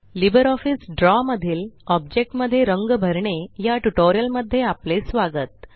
LibreOffice Draw मधील object मध्ये रंग भरणे या ट्यूटोरियल मध्ये आपले स्वागत